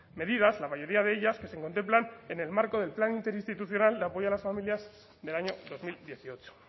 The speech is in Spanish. medidas la mayoría de ellas que se contemplan en marco del plan institucional de apoyo a las familias del año dos mil dieciocho